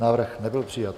Návrh nebyl přijat.